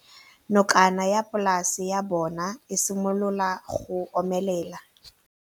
Nokana ya polase ya bona, e simolola go omelela.